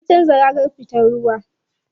An canza ragar fitar ruwa.